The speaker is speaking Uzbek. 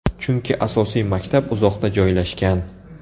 Chunki asosiy maktab uzoqda joylashgan.